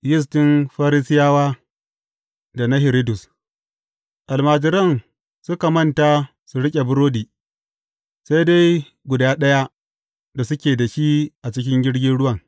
Yistin Farisiyawa da na Hiridus Almajiran suka manta su riƙe burodi, sai dai guda ɗaya da suke da shi a cikin jirgin ruwan.